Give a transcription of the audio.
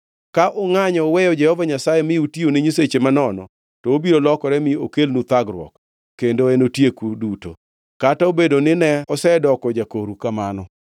Ka ungʼanyo uweyo Jehova Nyasaye mi utiyo ne nyiseche manono, to obiro lokore mi okelnu thagruok kendo enotieku duto, kata obedo ni ne osedoko jakoru kamano.”